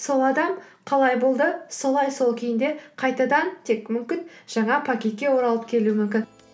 сол адам қалай болды солай сол күйінде қайтадан тек мүмкін жаңа пакетке оралып келуі мүмкін